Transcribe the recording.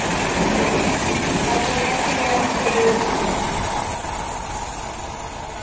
bakeng la tsebo ya mosebetsi